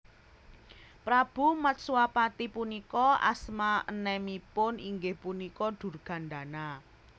Prabu Matswapati punika asma enemipun inggih punika Durgandana